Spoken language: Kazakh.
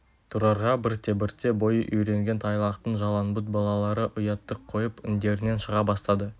тұрарға бірте-бірте бойы үйренген тайлақтың жалаңбұт балалары ұятты қойып індерінен шыға бастады